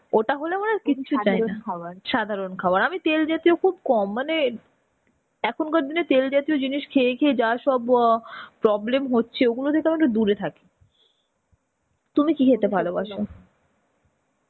ওটা হলে আমার আর কিছু চাইনা. সাধারণ খাবার. আমি তেল জাতীয় খুব কম মানে এখনকার দিনে তেল জাতীয় জিনিস খেয়ে খেয়ে যা সব ব problem হচ্ছে. ওগুলো থেকে আমি একটু দুরে থাকি. তুমি কি খেতে ভালোবাসো?